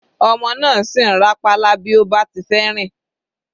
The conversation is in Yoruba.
Ọmọ náà sì ń rá pálá bí ó bá ti fẹ́ rìn.